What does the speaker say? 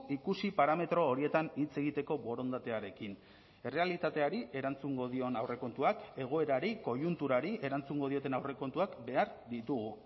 ikusi parametro horietan hitz egiteko borondatearekin errealitateari erantzungo dion aurrekontuak egoerari koiunturari erantzungo dioten aurrekontuak behar ditugu